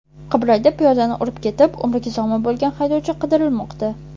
Qibrayda piyodani urib ketib, umriga zomin bo‘lgan haydovchi qidirilmoqda.